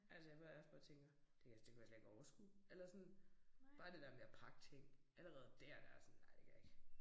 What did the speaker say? Altså hvor jeg også bare tænker. Det kan jeg det kunne jeg slet ikke overskue eller sådan bare det der med at pakke ting. Allerede dér der jeg sådan nej det kan jeg ikke